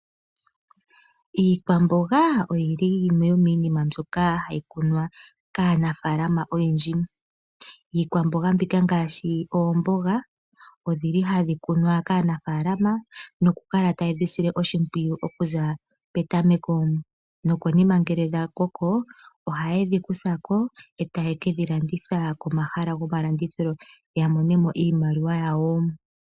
Iikwamboga ohayi kunwa kaanafalama oyendji. Iikwamboga mbyoka ngaashi oomboga nohaya kala taye dhisile oshimpwiyu. Nokonima ngele dha koko oha yedhi kuthako yedhi fale komahala gomalandithilo ya monemo iimaliwa yawo.